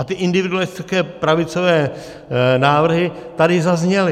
A ty individualistické pravicové návrhy tady zazněly.